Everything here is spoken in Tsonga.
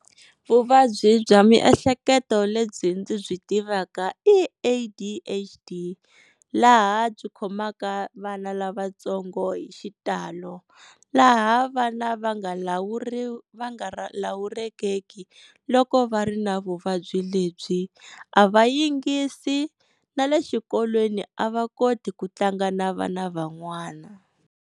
Vuvabyi bya miehleketo lebyi ndzi byi tivaka i A_D_H_D laha byi khomaka vana lavatsongo hi xitalo. Laha vana va nga va nga lawulekeki loko va ri na vuvabyi lebyi, a va yingisi na le xikolweni a va koti ku tlanga na vana van'wana.